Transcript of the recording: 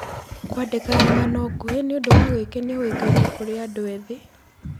Kwandĩka ng'ano nguhĩ nĩ ũndũ wa gwĩkenia ũĩkaine kũrĩ andũ ethĩ.